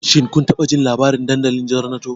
Shin kun taɓa jin labarin dandalin Zornato?